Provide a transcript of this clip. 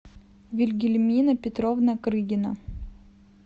вильгельмина петровна крыгина